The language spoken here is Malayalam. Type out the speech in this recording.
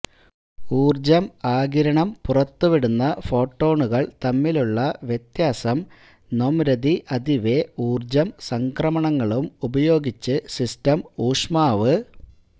ഊർജ്ജം ആഗിരണം പുറത്തുവിടുന്ന ഫോട്ടോണുകൾ തമ്മിലുള്ള വ്യത്യാസം നൊംരദിഅതിവെ ഊർജ്ജം സംക്രമണങ്ങളും ഉപയോഗിച്ച് സിസ്റ്റം ഊഷ്മാവ്